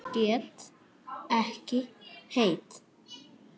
Get ekki hætt.